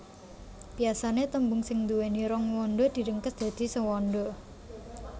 Biasané tembung sing nduwéni rong wanda diringkes dadi sewanda